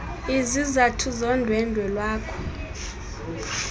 izizathu zondwendwe lwakho